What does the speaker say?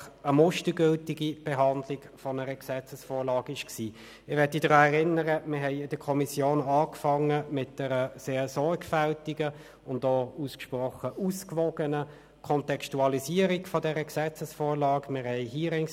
Ich erinnere daran, dass wir in der Kommission mit einer sehr sorgfältigen und ausgesprochen ausgewogenen Kontextualisierung dieser Gesetzesvorlage begonnen haben.